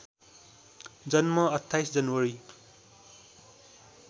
जन्म २८ जनवरी